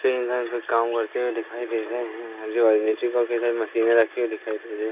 काम करते हुए दिखाई दे रहे हैं आजू बाजू मशीनें रखी हुई दिखाई दे रही--